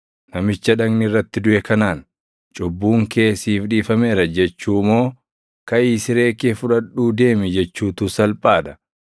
Namicha dhagni irratti duʼe kanaan, ‘Cubbuun kee siif dhiifameera’ jechuu moo ‘Kaʼii siree kee fudhadhuu deemi’ jechuutu salphaa dha?